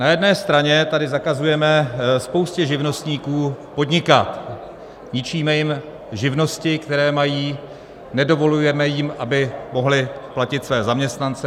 Na jedné straně tady zakazujeme spoustě živnostníků podnikat, ničíme jim živnosti, které mají, nedovolujeme jim, aby mohli platit své zaměstnance.